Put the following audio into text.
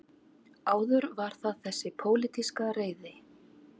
Áður var það þessi pólitíska reiði